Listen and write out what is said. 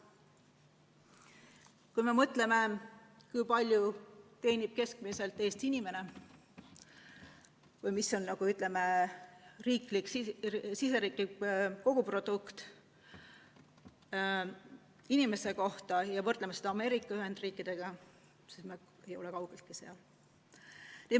Kui me mõtleme, kui palju teenib keskmiselt Eesti inimene või kui suur on SKP inimese kohta, ja võrdleme seda Ameerika Ühendriikidega, siis me ei ole kaugeltki sealmaal.